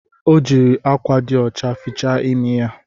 Ọ jiri akwa dị ọcha fichaa imi ya